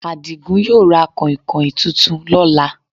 Adigún yóò ra kànhìnkàhìn tuntun lọ́là